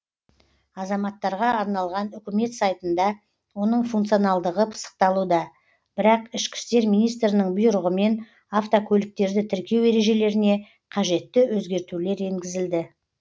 азаматтарға арналған үкімет сайтында оның функционалдығы пысықталуда бірақ ішкі істер министрінің бұйрығымен автокөліктерді тіркеу ережелеріне қажетті өзгертулер енгізілді